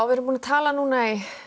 við erum búin að tala núna í